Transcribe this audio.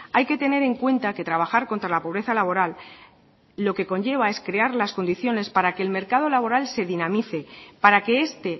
hay que tener en cuenta que trabajar contra la pobreza laboral lo que conlleva es crear las condiciones para que el mercado laboral se dinamice para que este